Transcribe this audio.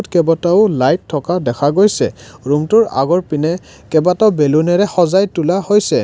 কেবাটাও লাইট থকা দেখা গৈছে ৰূমটোৰ আগৰপিনে কেইবাটাও বেলুনেৰে সজাই তোলা হৈছে।